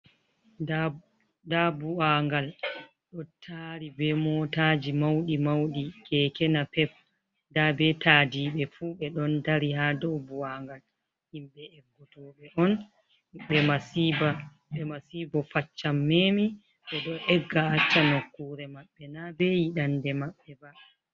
Ndaa bua'ngal ɗo taari be mootaaji mawɗi mawɗi, keeke napep, ndaa be taadiɓe fu, ɓe ɗon dari haa dow bu'angal. Himɓe eggotooɓe on, ɓe masiibo faccan memi, ɓe ɗo egga acca nokkuure maɓɓe, na be yiɗannde maɓɓe ba.